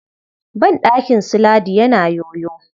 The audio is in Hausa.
Banɗakin su Ladi yana yoyo.